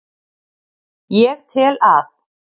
Ég tel að